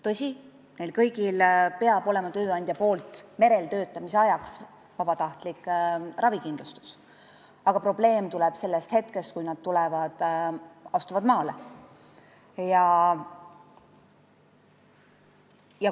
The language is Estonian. Tõsi, neil kõigil peab olema tööandja pakutav tervisekindlustus merel töötamise ajaks, aga probleem tekib sellest hetkest, kui nad maale astuvad.